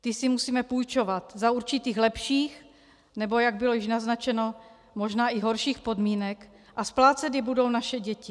Ty si musíme půjčovat za určitých lepších, nebo jak bylo již naznačeno, možná i horších podmínek a splácet je budou naše děti.